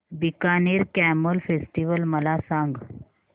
Bikaner camel festival मला सांग